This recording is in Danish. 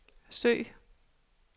søg